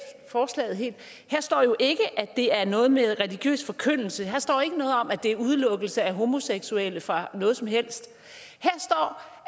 forslaget helt her står jo ikke at det er noget med religiøs forkyndelse her står ikke noget om at det er udelukkelse af homoseksuelle fra noget som helst